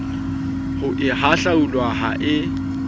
ho e hahlaula ha e